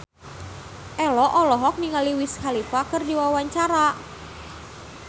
Ello olohok ningali Wiz Khalifa keur diwawancara